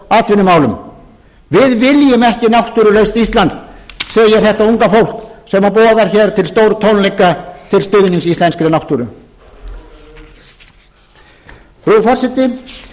atvinnumálum við viljum ekki náttúrulaust ísland segir þetta unga fólk sem boðar hér til stórtónleika til stuðnings íslenskri náttúru frú forseti